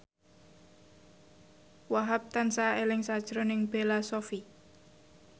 Wahhab tansah eling sakjroning Bella Shofie